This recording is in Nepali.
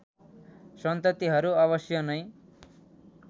सन्ततिहरू अवश्य नै